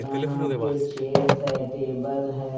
यहां पे चेयर्स है टेबल है।